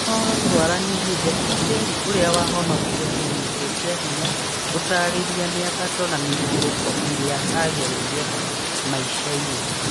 Inooro Twaranĩrie: Jackie Njeri ũrĩa wahonokire kũnyitwo kĩa hinya gũtarĩria mĩambato na mĩikũrũko ĩrĩa agereire maica-inĩ.